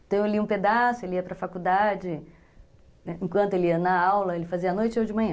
Então eu li um pedaço, ele ia para a faculdade, enquanto ele ia na aula, ele fazia à noite ou de manhã.